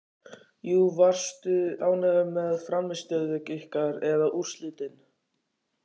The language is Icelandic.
Já Varstu ánægður með frammistöðu ykkar eða úrslitin?